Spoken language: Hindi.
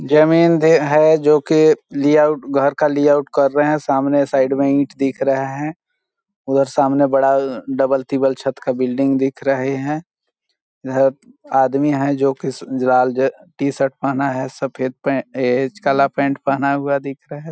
जमिन्दे है जोकि लेआउट घर का लेआउट कर रहे है सामने साइड में ईट दिख रहे है उधर सामने बड़ा अ डबल टिपल छत का बिल्डिंग दिख रहे है यह आदमी है जोकि स लाल जे टी-शर्ट पहना है सफ़ेद पैंट ए काला पैंट पहना हुआ दिख रहा हैं ।